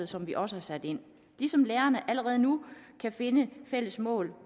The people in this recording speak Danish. som vi også har sat ind ligesom lærerne allerede nu kan finde fælles mål